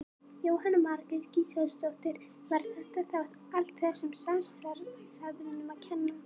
Jóhanna Margrét Gísladóttir: Var þetta þá allt þessum samstarfsaðilum að kenna?